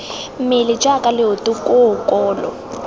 mmele jaaka leoto koo kolo